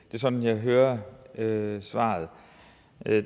er sådan jeg hører hører svaret